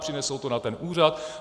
Přinesou to na ten úřad.